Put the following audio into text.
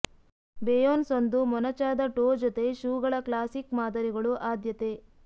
Beyonce ಒಂದು ಮೊನಚಾದ toe ಜೊತೆ ಶೂಗಳ ಕ್ಲಾಸಿಕ್ ಮಾದರಿಗಳು ಆದ್ಯತೆ